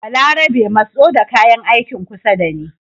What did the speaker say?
Balarabe matso da kayan aikin kusa da ni